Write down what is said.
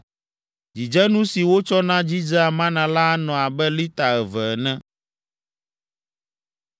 (Dzidzenu si wotsɔna dzidzea mana la anɔ abe lita eve ene.)